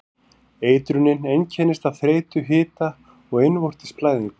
Eitrunin einkennist af þreytu, hita og innvortis blæðingum.